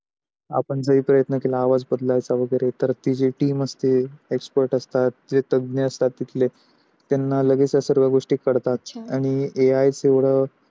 आपण जे काही एक मेकला आवाज बदलायचा वगैरे जे ती team असेते, expert असतात जे तज्ञ असतात तिथले त्यांना हेलागिच सर्व गोष्टी कडतात. आणि AI तेवड